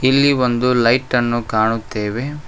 ಇಲ್ಲಿ ಒಂದು ಲೈಟ್ ಅನ್ನು ಕಾಣುತ್ತೇವೆ.